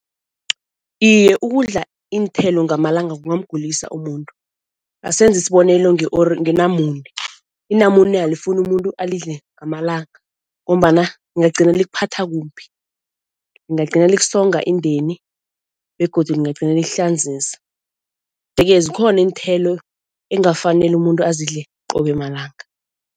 Iye ukudla iinthelo ngamalanga kungamgulisa umuntu. Asenze isibonelo ngenamune, inamune alifuni umuntu alidle ngamalanga ngombana lingagcina likuphatha kumbi, lingagcina likusonga indeni begodu lingagcine likuhlanzisa. Yeke zikhona iinthelo engafaneli umuntu azidle qobe malanga.